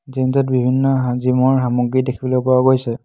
Gym টোত বিভিন্ন হা জিম ৰ সামগ্ৰী দেখিবলৈ পোৱা গৈছে।